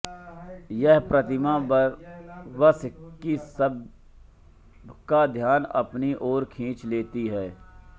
यह प्रतिमा बरबस ही सबका ध्यान अपनी ओर खींच लेती है